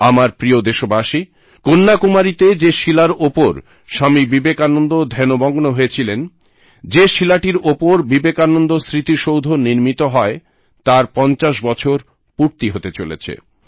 আমার প্রিয় দেশবাসী কন্যাকুমারীতে যে শিলার ওপর স্বামী বিবেকানন্দ ধ্যানমগ্ন হয়েছিলেন যে শিলাটির ওপর বিবেকানন্দ স্মৃতিসৌধ নির্মিত হয় তার 50 বছর পূর্তি হতে চলেছে